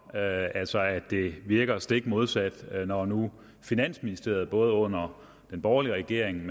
altså at det virker stik modsat når nu finansministeriet både under den borgerlige regering